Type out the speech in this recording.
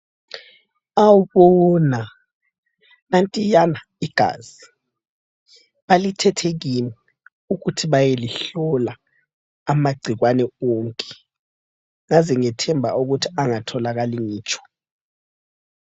Awubona nantiyana igazi, balithethe kimi, ukuthi bayelihlola amagcikwane wonke, yazi ngithemba ukuthi angatholakali ngitsho.